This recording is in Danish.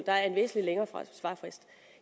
der en væsentlig længere svarfrist